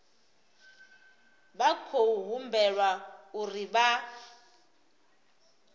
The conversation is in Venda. vha khou humbelwa uri vha